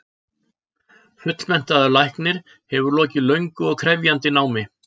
Fullmenntaður læknir hefur lokið löngu og krefjandi námi.